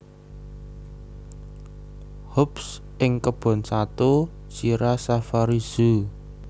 Hobbs ing Kebon Sato Sierra Safari Zoo